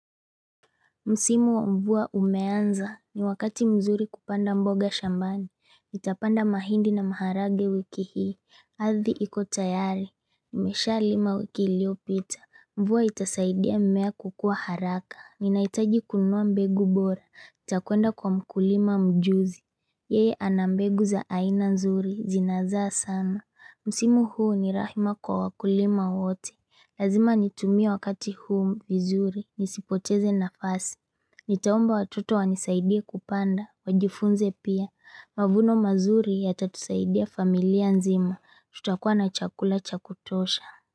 Msimu wa mvua umeanza, ni wakati mzuri kupanda mboga shambani. Nitapanda mahindi na maharagwe wiki hii. Ardhi iko tayari. Nimeshalima wiki iliyopita. Mvua itasaidia mmea kukua haraka. Ninahitaji kunua mbegu bora. Nitakwenda kwa mkulima mjuzi. Yeye ana mbegu za aina nzuri. Zinazaa sana. Msimu huu ni rahima kwa wakulima wote. Lazima nitumie wakati huu vizuri. Nisipoteze nafasi. Nitaomba watoto wanisaidie kupanda Wajifunze pia Mavuno mazuri yatatusaidia familia nzima. Tutakuwa na chakula cha kutosha.